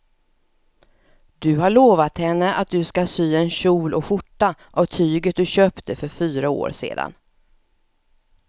Du har lovat henne att du ska sy en kjol och skjorta av tyget du köpte för fyra år sedan.